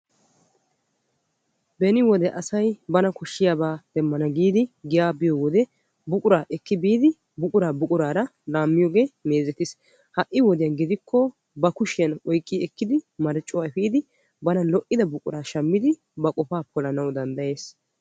Beni wode asayi bana koshiyaaba demmana giyaa biyoo wode buqura ekki biidi buquraara laammiyyoge meezetis. H a'i wode gidikko ba kushiyan marccuwaa efiidi bana lo'idaba shammidi ba qofa polana danddayes.